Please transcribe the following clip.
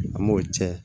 An m'o cɛ